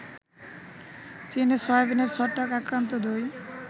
চীনে সয়াবিনের ছত্রাক আক্রান্ত দই